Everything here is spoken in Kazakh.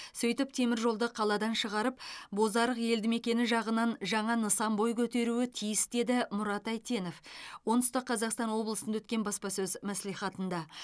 сөйтіп теміржолды қаладан шығарып бозарық елдімекені жағынан жаңа нысан бой көтеруі тиіс деді мұрат әйтенов оңтүстік қазақстан облысында өткен баспасөз мәслихатында